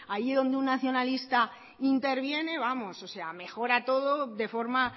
ahí donde un nacionalista interviene vamos o sea mejora todo de forma